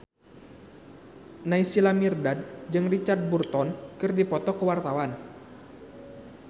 Naysila Mirdad jeung Richard Burton keur dipoto ku wartawan